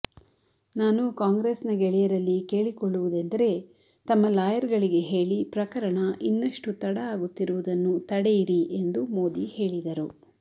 ನಾನು ಕಾಂಗ್ರೆಸ್ನ ಗೆಳೆಯರಲ್ಲಿ ಕೇಳಿಕೊಳ್ಳುವುದೆಂದರೆ ತಮ್ಮ ಲಾಯರ್ಗಳಿಗೆ ಹೇಳಿ ಪ್ರಕರಣ ಇನ್ನಷ್ಟು ತಡ ಆಗುತ್ತಿರುವುದನ್ನು ತಡೆಯಿರಿ ಎಂದು ಮೋದಿ ಹೇಳಿದರು